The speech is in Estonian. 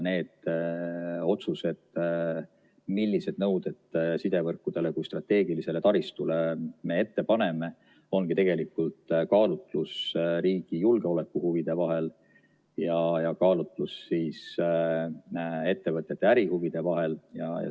Need otsused, millised nõuded me sidevõrkudele kui strateegilisele taristule ette paneme, ongi tegelikult kaalutlus riigi julgeolekuhuvide ja ettevõtete ärihuvide vahel.